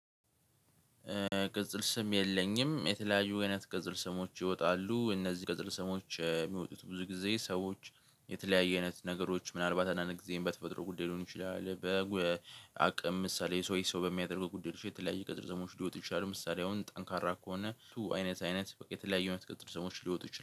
ቅጽል ስም የለኝም የተለያዩ አይነት ቅጽል ስሞች ይወጣሉ እነዚህ ቅጽል ስሞች የሚወጡት ብዙ ጊዜ ሰዎች የተለያየ አይነት ነገሮች ምናልባት አንዳንድ ጊዜም በተፈጥሮ ጉዳይ ሊሆኑ ይችላል። በአቅም ምሳሌ ሰው ሰው በሚያደርግ ጉዳዮች የተለያዩ ቅጽል ስሞች ሊወጡ ይችላሉ። ምሳሌ አሁን ጠንካራ ከሆነ እሱ አይነት አይነት የተለያዩ አይነት ቅጽል ስሞች ሊወጡ ይችላሉ።